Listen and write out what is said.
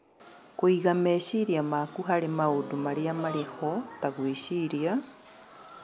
Kũiga meciria maku harĩ maũndũ marĩa marĩ ho, ta gwĩciria,